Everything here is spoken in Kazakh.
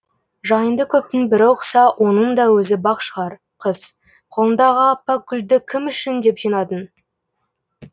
жайыңды көптің бірі ұқса оның да өзі бақ шығар қыз қолыңдағы аппақ гүлді кім үшін деп жинадың